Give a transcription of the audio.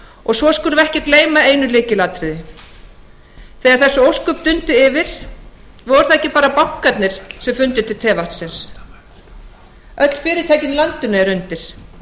og svo skulum við ekki gleyma einu lykilatriði þegar þessi ósköp dundu yfir voru það ekki bara bankarnir sem fundu til tevatnsins öll fyrirtækin í landinu eru undir